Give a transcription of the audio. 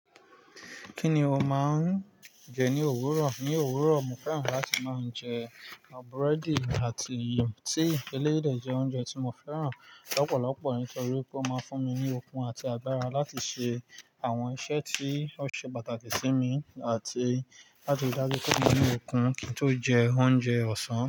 Kí ni o máa ń jẹ ní òwúrọ̀? Ní òwúrọ̀, mo fẹ́ràn láti máa ń jẹ búrẹ́dì àti tíì. Eléyìí jẹ́ oúnjẹ tí mo fẹ́ràn lọ́pọ̀lọpọ̀ nítorí pé ó máa ń fún mi ní okun àti agbára láti ṣe àwọn iṣẹ́ tí ó ṣe pàtàkì sí mi, àti láti rí dájú pé mo ní okun kí n tó jẹ oúnjẹ ọ̀sán.